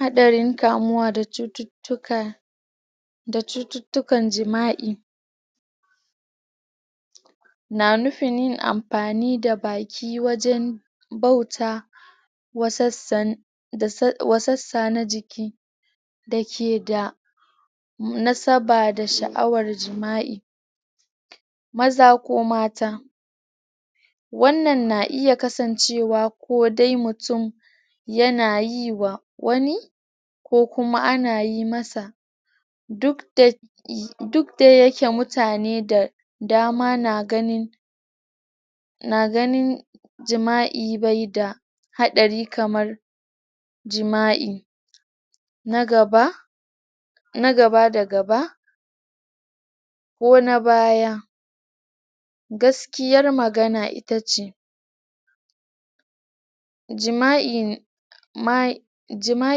Haɗarin kamuwa da cututtukan jima'i na nufin yin ampani da baki wajen bauta wassa na jiki da ke da nasaba da sha'awar jima'i maza ko mata wannan na iya kasancewa ko dai mutum ya na yi wa wani ko kuma ana yi masa duk da yake mutane da dama na ganin na ganin jima'i bai da haɗari kamar jima'i na gaba...na gaba da gaba ko na baya. Gaskiyar magana ita ce jima'a...jima'a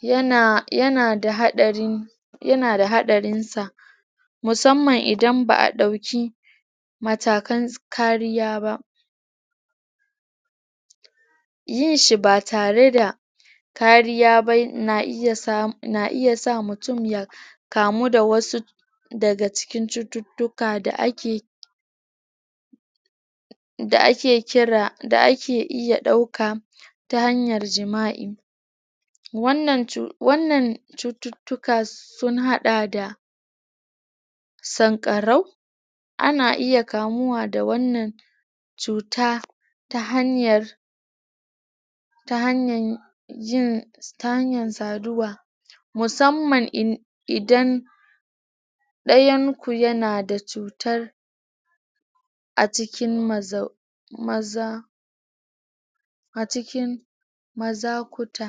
yana da haɗarin sa musamman idan ba'a ɗauki matakan kariya yin shi ba tare da kariya ba na iya sa mutum ya kamu da wasu daga cututtuka da ake da ake kira...da ake iya ɗauka ta hanyar jima'i wannan cututtuka sun haɗa da sanƙarau, ana iya kamuwa da wannan cuta ta hanyar ta hanyar yin, ta hanyar saduwa, musamman idan ɗayan ku yana da cutar a cikin maza a cikin mazakuta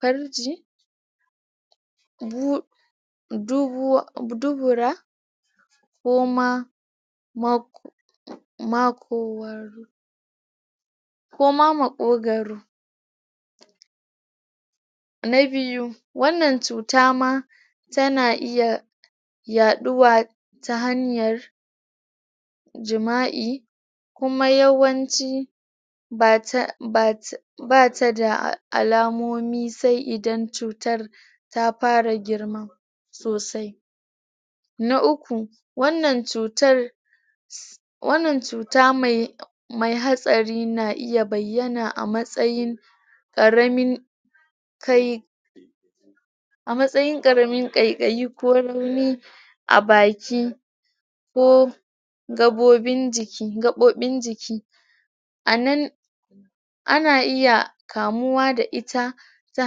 parji dubura um koma maƙogaro na biyu, wannan cuta ma tana iya yaɗuwa ta hanyar jima'i, kuma yawanci ba ta da alamomi sai idan cutar ta para girma sosai na uku, wannan cutar wannan cuta mai hatsari na iya bayyana a matsayin ƙaramin kai a matsayin ƙaramin ƙaiƙai ko rauni a baki ko gaɓoɓin jiki a nan ana iya kamuwa da ita ta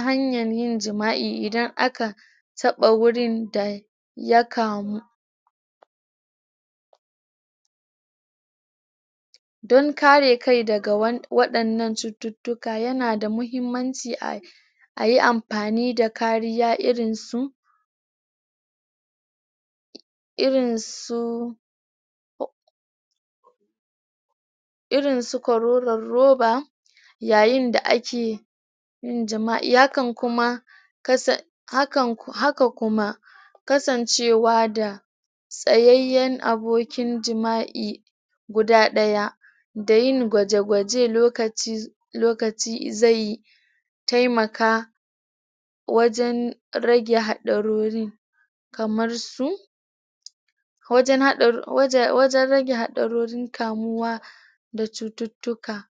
hanyan yin jima'i idan aka taɓa wurin da ya kan don kare kai daga waɗannan cututtuka yana da muhimman ci a yi ampani da kariya irin su irin su irin su korolon roba yayin da ake yin jima'i, hakan kuma... haka kuma kasancewa da tsayayyen abokin jima'i guda ɗaya, da yin gwaje gwaje lokaci zai taimaka wajen rage haɗarori kamar su wajen rage haɗarorin kamuwa da cututtuka.